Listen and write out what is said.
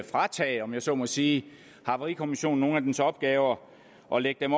fratage om jeg så må sige havarikommissionen nogle af dens opgaver og lægge dem